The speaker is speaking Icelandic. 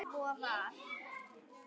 Svo var.